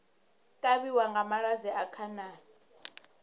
kavhiwa nga malwadze a khanani